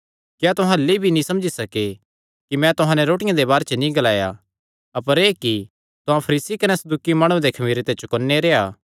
क्या तुहां अह्ल्ली भी नीं समझी सके कि मैं तुहां नैं रोटियां दे बारे च नीं ग्लाया अपर एह़ कि तुहां फरीसी कने सदूकी माणुआं दे खमीरे ते चौकन्ने रैहणा